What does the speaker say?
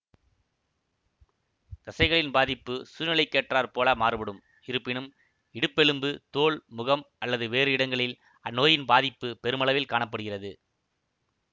தசைகளின் பாதிப்பு சூழ்நிலைக்கேற்றார் போல மாறுபடும் இருப்பினும் இடுப்பெலும்பு தோள் முகம் அல்லது வேறு இடங்களில் அந்நோயின் பாதிப்பு பெருமளவில் காண படுகிறது